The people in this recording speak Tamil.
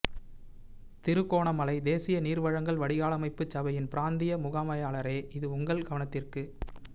திருகோணமலை தேசிய நீர்வழங்கல்வடிகாலமைப்புச் சபையின் பிராந்திய முகாமையாளரே இது உங்கள் கவனத்திற்கு